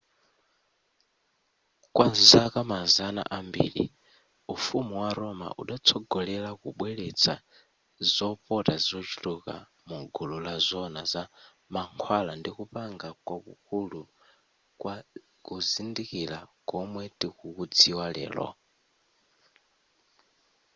kwa zaka mazana ambiri ufumu wa roma udatsogolera kubweretsa zopata zochuluka mu gulu la zoona za mankhwala ndi kupanga kwakulu kwa kuzindikira komwe tikukudziwa lero